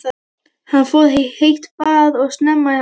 Hann fór í heitt bað og snemma í háttinn.